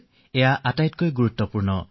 সেয়া আটাইতকৈ গুৰুত্বপূৰ্ণ কথা